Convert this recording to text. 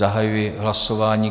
Zahajuji hlasování.